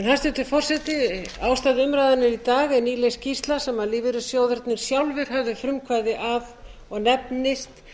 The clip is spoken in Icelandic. hæstvirtur forseti ástæða umræðunnar í dag er nýleg skýrsla sem lífeyrissjóðirnir sjálfir höfðu frumkvæði að og nefnist